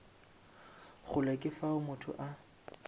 kgole ke fao motho a